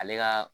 Ale ka